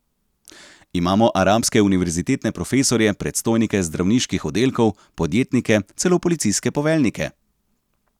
Imamo arabske univerzitetne profesorje, predstojnike zdravniških oddelkov, podjetnike, celo policijske poveljnike.